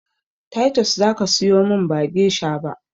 Taitos zaka siyomin ba gesha ba